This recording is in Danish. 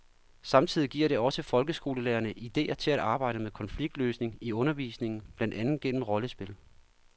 Samtidig giver det også folkeskolelærerne idéer til at arbejde med konfliktløsning i undervisningen, blandt andet gennem rollespil.